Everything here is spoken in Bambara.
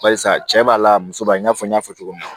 Barisa cɛ b'a la muso b'a i n'a fɔ n y'a fɔ cogo min na